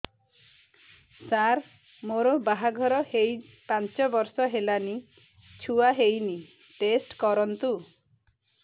ସାର ମୋର ବାହାଘର ହେଇ ପାଞ୍ଚ ବର୍ଷ ହେଲାନି ଛୁଆ ହେଇନି ଟେଷ୍ଟ କରନ୍ତୁ